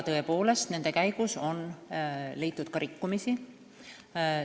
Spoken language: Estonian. Tõepoolest, nende käigus on leitud ka rikkumisi.